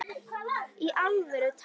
Í alvöru talað?